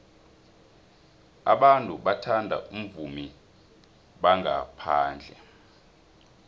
abantu bathanda abavumi bangaphandle